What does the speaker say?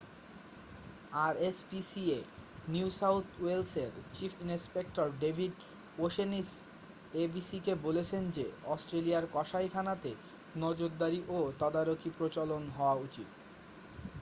rspca New South ওয়েলসের chief inspector David O'Shaughnessy abc-কে বলেছেন যে অস্ট্রেলিয়ার কসাইখানাতে নজরদারি ও তদারকির প্রচলন হওয়া উচিত।